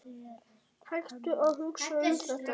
Hættu að hugsa um þetta.